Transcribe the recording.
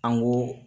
An ko